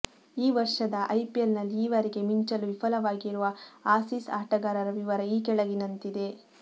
ಈ ವರ್ಷದ ಐಪಿಎಲ್ನಲ್ಲಿ ಈವರೆಗೆ ಮಿಂಚಲು ವಿಫಲವಾಗಿರುವ ಆಸೀಸ್ ಆಟಗಾರರ ವಿವರ ಈ ಕೆಳಗಿನಂತಿದೆ